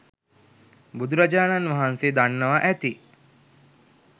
බුදුරජාණන් වහන්සේ දන්නවා ඇති.